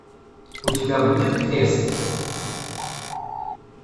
у тебя будет крест